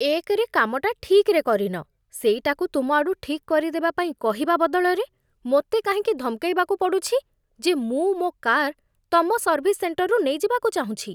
ଏକରେ କାମଟା ଠିକ୍‌‌ରେ କରିନ, ସେଇଟାକୁ ତୁମଆଡ଼ୁ ଠିକ୍ କରିଦେବା ପାଇଁ କହିବା ବଦଳରେ, ମୋତେ କାହିଁକି ଧମକେଇବାକୁ ପଡ଼ୁଛି ଯେ ମୁଁ ମୋ' କାର୍ ତମ ସର୍ଭିସ୍ ସେଣ୍ଟରରୁ ନେଇଯିବାକୁ ଚାହୁଁଛି?